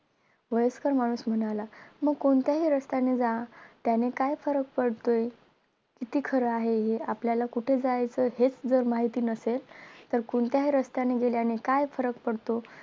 वयस्कर माणूस म्हणाला मग कोणत्याही रस्त्याने जा त्याने काय फरक पडतोय किती खर हाय हे आपल्यालाच कुठे जायायचं हेच जर माहित नासेल तर कोणत्याही रस्त्याने गेल्याने काय फरक पडतो